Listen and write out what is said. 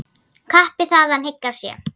Kappi þaðan hygg að sé.